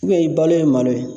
i balo ye malo ye.